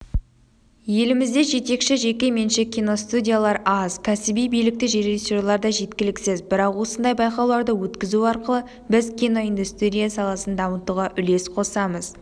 елімізде жетекші жеке-меншік киностудиялар аз кәсіби білікті режиссерлер де жеткіліксіз бірақ осындай байқауларды өткізу арқылы біз киноиндустрия саласын дамытуға үлес қосамыз